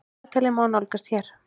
Dagatalið má nálgast hér.